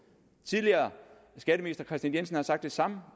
tidligere skatteminister kristian jensen har sagt det samme